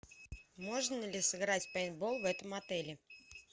можно ли сыграть в пейнтбол в этом отеле